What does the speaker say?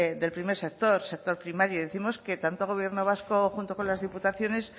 del primer sector sector primario y décimos que tanto gobierno vasco junto con las diputaciones